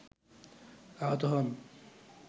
আহত হন